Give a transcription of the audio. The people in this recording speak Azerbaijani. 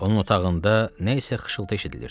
Onun otağında nəsə xışıltı eşidilirdi.